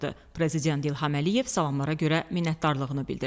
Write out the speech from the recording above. Prezident İlham Əliyev salamlarına görə minnətdarlığını bildirdi.